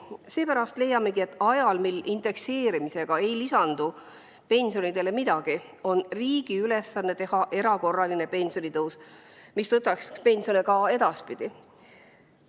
Seepärast leiamegi, et ajal, mil indekseerimisega ei lisandu pensionidele midagi, on riigi ülesanne teha erakorraline pensionitõus, mis tõstaks pensione ka edaspidi.